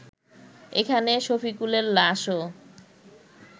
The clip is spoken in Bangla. এখানে শফিকুলের লাশও